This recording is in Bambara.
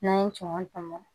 N'an ye kɔnkɔ tɔmɔ